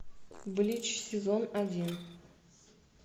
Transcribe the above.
блич сезон один